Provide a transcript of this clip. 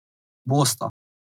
Bosta.